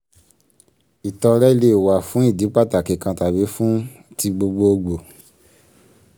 ìtọrẹ lè wà fún ìdí pàtàkì kan tàbí fún ti gbogboogbò.